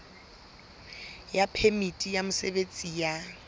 ya phemiti ya mosebetsi ya